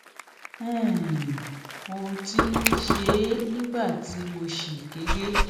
um mo ti ń ṣe é nígbà tí mo ṣì kéré